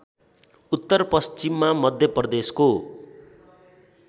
उत्तर पश्चिममा मध्यप्रदेशको